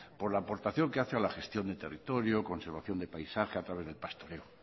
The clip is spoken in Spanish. por la aportación que hace a la gestión del territorio conservación de paisaje a través del pastoreo